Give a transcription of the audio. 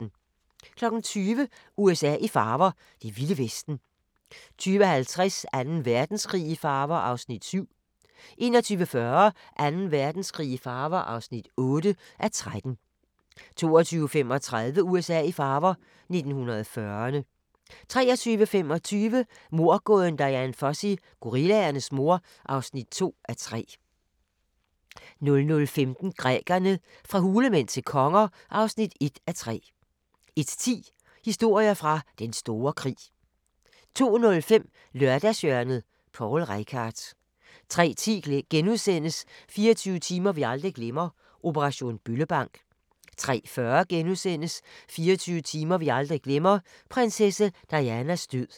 20:00: USA i farver – det vilde vesten 20:50: Anden Verdenskrig i farver (7:13) 21:40: Anden Verdenskrig i farver (8:13) 22:35: USA i farver – 1940'erne 23:25: Mordgåden Dian Fossey – Gorillaernes mor (2:3) 00:15: Grækerne – fra hulemænd til konger (1:3) 01:10: Historier fra Den Store Krig 02:05: Lørdagshjørnet – Poul Reichhardt 03:10: 24 timer vi aldrig glemmer – operation Bøllebank * 03:40: 24 timer vi aldrig glemmer – prinsesse Dianas død *